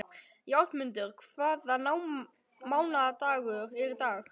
Játmundur, hvaða mánaðardagur er í dag?